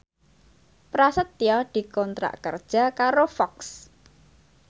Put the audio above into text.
Prasetyo dikontrak kerja karo Fox